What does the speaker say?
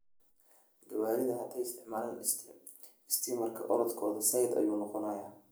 Gawaridha haday isticmalaan istimarka orodhkodha zaid ayau noqonaa.